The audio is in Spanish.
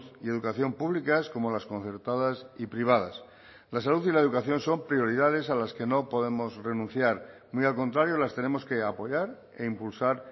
y educación públicas como las concertadas y privadas la salud y la educación son prioridades a las que no podemos renunciar muy al contrario las tenemos que apoyar e impulsar